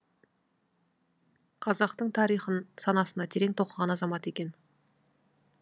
қазақтың тарихын санасына терең тоқыған азамат екен